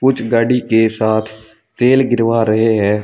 कुछ गाड़ी के साथ तेल गिरवा रहे है।